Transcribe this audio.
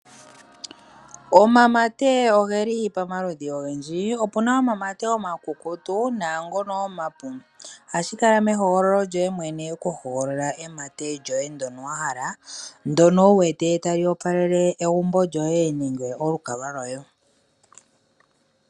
Omamate ogeli pamaludhi ogendji opu na omamate omakukutu naangono omapu ohashi kala mehogololo lyoye mwene oku hogolola emate lyoye ndyono wa hala ndyono wuwete tali opalele egumbo lyoye nenge olukalwa loye.